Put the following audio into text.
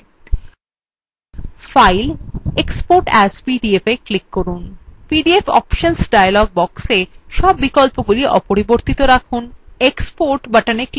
file> export as pdfএ click করুন ipdf options dialog box সব বিকল্পগুলি অপরিবর্তিত রাখুন এবং export button click করুন